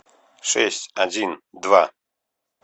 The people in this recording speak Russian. шесть один два